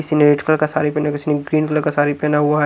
किसी ने red colour का सारी पहना किसी ने ग्रीन कलर का सारी पहना हुआ --